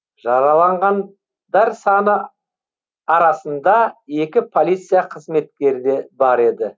жараланған дар саны арасында екі полиция қызметкері де бар еді